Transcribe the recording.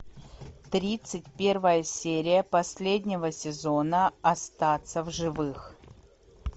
тридцать первая серия последнего сезона остаться в живых